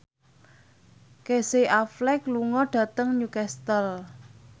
Casey Affleck lunga dhateng Newcastle